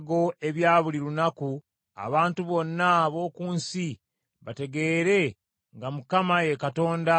abantu bonna ab’oku nsi bategeere nga Mukama ye Katonda era tewali mulala.